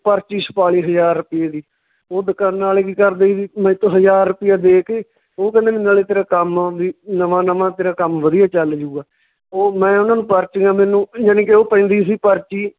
ਪਰਚੀ ਛਪਾਲੀ ਹਜਾਰ ਰੁਪਈਏ ਦੀ, ਓਹ ਦਕਾਨਾਂ ਆਲੇ ਕੀ ਕਰਦੇ ਸੀ ਹਜਾਰ ਰੁਪਈਆ ਦੇ ਕੇ, ਓਹ ਕਹਿੰਦੇ ਵੀ ਨਾਲੇ ਤੇਰਾ ਕੰਮ ਵੀ ਨਵਾਂ ਨਵਾਂ ਤੇਰਾ ਕੰਮ ਵਧੀਆ ਚੱਲ ਜਾਊਗਾ, ਉਹ ਮੈਂ ਉਹਨਾਂ ਨੂੰ ਪਰਚੀਆਂ ਮੈਨੂੰ ਜਾਣੀ ਕਿ ਓਹ ਪੈਂਦੀ ਸੀ ਪਰਚੀ